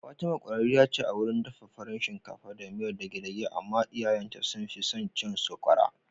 Fatima kwararriya ce a wurin dafa farin shinkafa da miyar dege-dege amma iyayen ta sun fi son cin sokwara